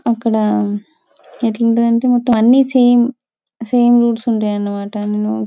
అక్కడ ఎట్లుంటదంటే మొత్తం అన్ని సేమ్ సమె ఉంటాయన్నమాట అన్ని--